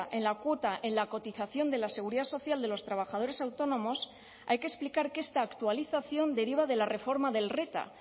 en la cuota en la cotización de la seguridad social de los trabajadores autónomos hay que explicar que esta actualización deriva de la reforma del reta